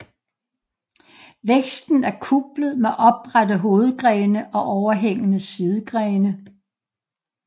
Væksten er kuplet med oprette hovedgrene og overhængende sidegrene